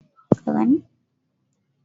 Da sikeli ake awon gwal